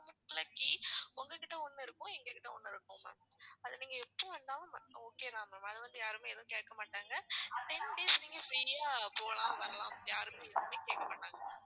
அதுக்குள்ளே key உங்க கிட்ட ஒண்ணு இருக்கும் எங்க கிட்ட ஒண்ணு இருக்கும் ma'am அது நீங்க எப்போ வந்தாலும் okay ma'am அது வந்து யாருமே எதுவுமே கேக்க மாட்டாங்க ten days நீங்க free யா போலாம் வரலாம் யாருமே எதுவுமே கேட்கமாட்டாங்க ma'am